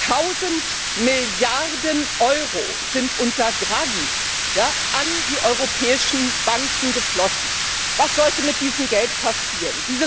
Tausend Milliarden Euro sind unter Draghi an die europäischen Banken geflossen. Was sollte mit diesem Geld passieren?